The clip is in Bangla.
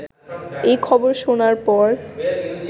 এই খবর শোনার পর